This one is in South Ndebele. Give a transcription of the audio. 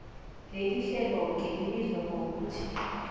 lelihleloke libizwa ngokuthi